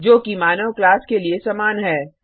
जो कि मानव क्लास के लिए समान है